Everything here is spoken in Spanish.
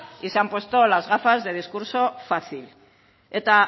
y se han puesto las gafas de discurso fácil eta